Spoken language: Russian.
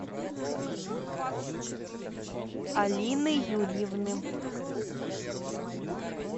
алины юрьевны